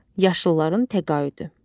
Yaşılların təqaüdü.